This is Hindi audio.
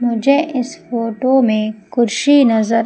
मुझे इस फोटो में कुर्सी नजर--